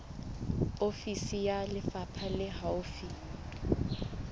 ofisi ya lefapha le haufi